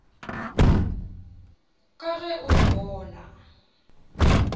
ka ge o re bona